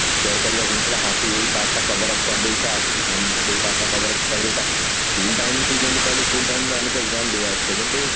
share କରିବା ଜିନିଷ ଗୁଡା ହଁ ତୁ ଏଇ part ଟା coverup କରିଦେଇଥା ଉଁ ସେଇ part ଟା coverup କରିଦେଇଥା school time ରେ ତୁ ଯେମତି କହିଲୁ school time ରୁ ଆମେ ତ exam ଦେଇ ଆସୁଛୁ କିନ୍ତୁ